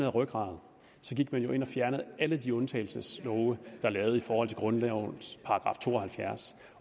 rygrad til det man ind og fjernede alle de undtagelseslove er lavet i forhold til grundlovens § to og halvfjerds